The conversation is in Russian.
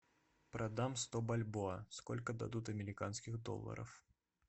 продам сто бальбоа сколько дадут американских долларов